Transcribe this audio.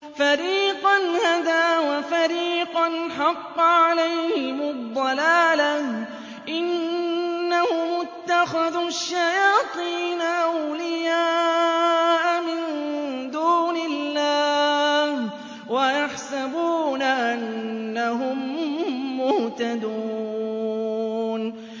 فَرِيقًا هَدَىٰ وَفَرِيقًا حَقَّ عَلَيْهِمُ الضَّلَالَةُ ۗ إِنَّهُمُ اتَّخَذُوا الشَّيَاطِينَ أَوْلِيَاءَ مِن دُونِ اللَّهِ وَيَحْسَبُونَ أَنَّهُم مُّهْتَدُونَ